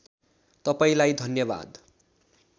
तपाईँलाई धन्यवाद